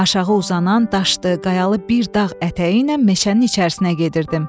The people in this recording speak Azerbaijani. Aşağı uzanan daşdı qayalı bir dağ ətəyi ilə meşənin içərisinə gedirdim.